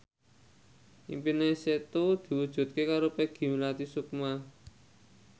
impine Setu diwujudke karo Peggy Melati Sukma